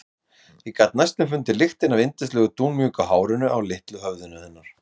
Ég gat næstum fundið lyktina af yndislegu dúnmjúku hárinu á litla höfðinu hennar.